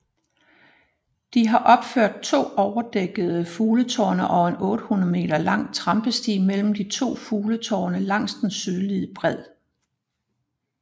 De har opført to overdækkede fugletårne og en 800 meter lang trampesti mellem de to fugletårne langs den sydlige bred